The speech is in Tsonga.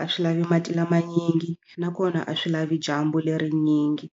a swi lavi mati lama manyingi nakona a swi lavi dyambu lerinyingi.